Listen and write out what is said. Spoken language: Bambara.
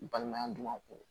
N balimaya dun ka kɔrɔ